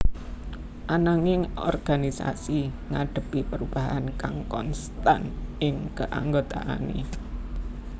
Ananging organisasi ngadhepi perubahan kang konstan ing keanggotaané